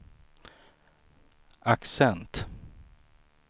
accent